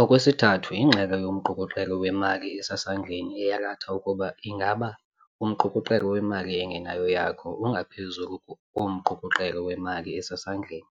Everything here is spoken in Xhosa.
Okwesithathu ingxelo yomqukuqelo wemali esesandleni eyalatha ukuba ingaba umqukuqelo wemali engenayo yakho ungaphezu komqukuqelo wemali esesandleni